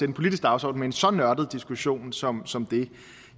en politisk dagsorden med en så nørdet diskussion som som det